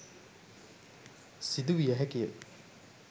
සිදු විය හැකි ය